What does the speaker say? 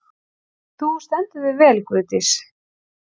Þú stendur þig vel, Guðdís!